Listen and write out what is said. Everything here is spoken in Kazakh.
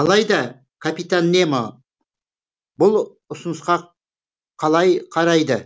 алайда капитан немо бұл ұсынысқа қалай қарайды